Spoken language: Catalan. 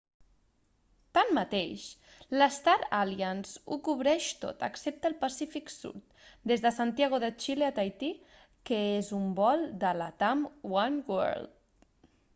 tanmateix la star alliance ho cobreix tot excepte el pacífic sud des de santiago de chile a tahití que és un vol de latam oneworld